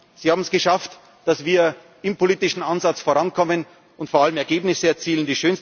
beschränken. Sie haben es geschafft, dass wir im politischen Ansatz vorankommen und vor allem Ergebnisse